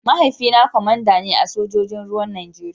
Mahaifina kwamanda ne a sojojin ruwan Najeriya.